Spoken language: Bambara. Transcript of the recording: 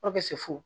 fo